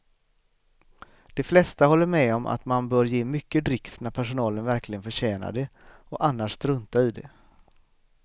De flesta håller med om att man bör ge mycket dricks när personalen verkligen förtjänar det och annars strunta i det.